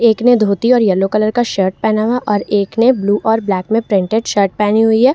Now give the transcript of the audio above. एक ने धोती और यलो कलर का शर्ट पहना हुआ और एक ने ब्लू और ब्लैक में प्रिंटेड शर्ट पहनी हुई है।